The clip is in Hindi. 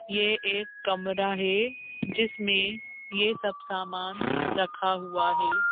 ये एक कमरा है जिसमें ये सब सामान रखा हुआ है।